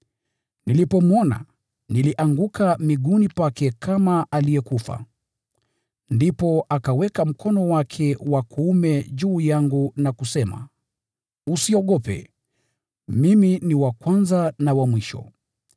Nilipomwona, nilianguka miguuni pake kama aliyekufa. Ndipo akauweka mkono wake wa kuume juu yangu na kusema: “Usiogope, Mimi ndiye wa Kwanza na wa Mwisho.